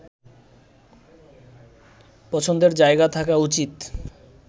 পছন্দের জায়গা থাকা উচিৎ